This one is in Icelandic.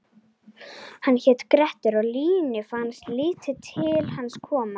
Hann hét Grettir og Línu fannst lítið til hans koma: